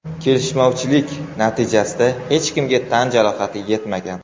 Kelishmovchilik natijasida hech kimga tan jarohati yetmagan.